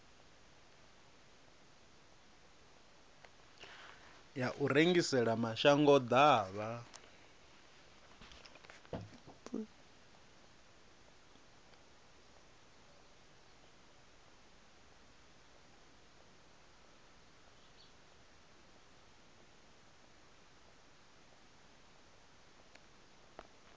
ya u rengisela mashango ḓavha